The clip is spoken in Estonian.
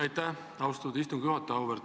Aitäh, austatud istungi juhataja!